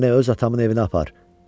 Məni öz atamın evinə apar.